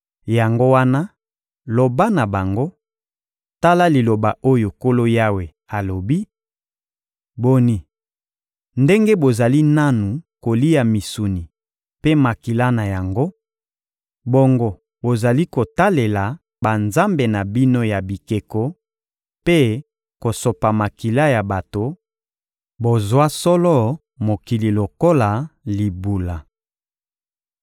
Yango wana, loba na bango: ‹Tala liloba oyo Nkolo Yawe alobi: Boni, ndenge bozali nanu kolia misuni mpe makila na yango, bongo bozali kotalela banzambe na bino ya bikeko mpe kosopa makila ya bato, bozwa solo mokili lokola libula!